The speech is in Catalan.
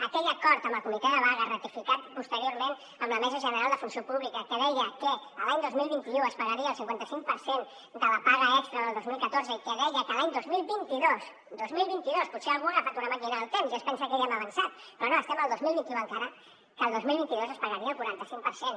aquell acord amb el comitè de vaga ratificat posteriorment amb la mesa general de funció pública que deia que l’any dos mil vint u es pagaria el cinquanta cinc per cent de la paga extra del dos mil catorze i que deia que l’any dos mil vint dos dos mil vint dos potser algú ha agafat una màquina del temps i es pensa que ja hem avançat però no som al dos mil vint u encara que el dos mil vint dos es pagaria el quaranta cinc per cent